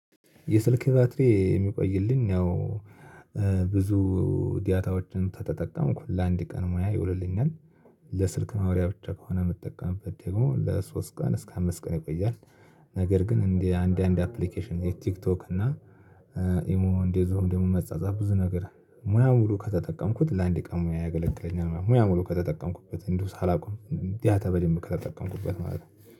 የስልክ ባትሪ የሚቆይልኝ ያው ብዙ ዳታወችን ከተጠቀምኩ ለአንድ ቀን መዋያ ይውልልኛል። ለስልክ ማውሪያ ብቻ ከሆነ የምጠቀምበት ደግሞ ለሶስት ቀን እስከ አምስት ቀን ይቆያል። ነገር ግን እንደ አንድ አንድ አፕሊኬሽን ቲክቶክ እና ኢሞ እንደዚሁም ደግሞ መጻጻፍ ብዙ ነገር ሙያ ሙሉ ከተጠቀምኩት ለአንድ ቀን ሙያ ያገለግለኛል። ሙያ ሙሉ ከተጠቀምኩበት እንዲሁ ሳላቆም ዳታ በደንብ ከተጠቀምኩበት ማለት ነው።